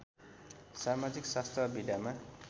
समाजिक शास्त्र विधामा